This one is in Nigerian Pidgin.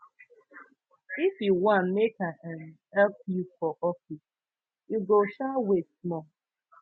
if you wan make i um help you for office you go um wait small